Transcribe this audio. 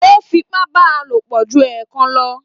O f'ipa bá a lopọ jù ẹẹkan lọ.